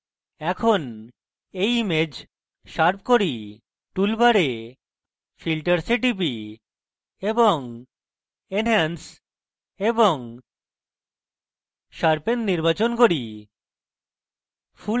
এখন এই image sharp করি tool bar আমি filters এ টিপি এবং enhance এবং sharpen নির্বাচন করি